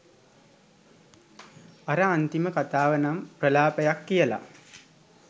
අර අන්තිම කතාවනම් ප්‍රලාපයක් කියලා